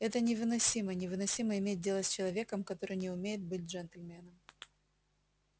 это невыносимо невыносимо иметь дело с человеком который не умеет быть джентльменом